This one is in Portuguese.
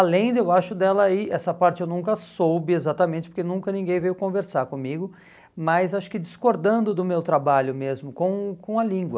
Além, de eu acho dela aí, essa parte eu nunca soube exatamente, porque nunca ninguém veio conversar comigo, mas acho que discordando do meu trabalho mesmo com com a língua.